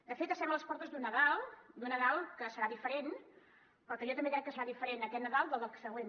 de fet estem a les portes d’un nadal d’un nadal que serà diferent però que jo també crec que es fa diferent aquest nadal del següent